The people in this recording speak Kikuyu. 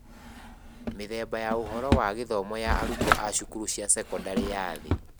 Mĩthemba ya ũhoro wa gĩthomo ya arutwo a cukuru cia sekondarĩ ya thĩ.